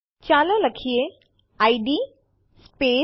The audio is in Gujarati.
ચાલો પ્રથમ સ્લાઇડ્સ પર પાછા જઈએ